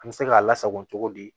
An bɛ se k'a lasako cogo di